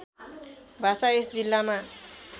भाषा यस जिल्लामा